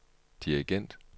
dirigent